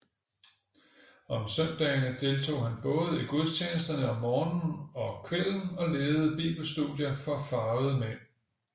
Om søndagene deltog han både i gudstjenesterne om morgenen og kvælden og ledede bibelstudier for farvede mænd